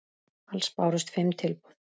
Alls bárust fimm tilboð.